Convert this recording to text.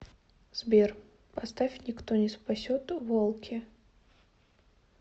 сбер поставь никто не спасет волки